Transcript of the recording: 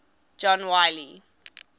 john wiley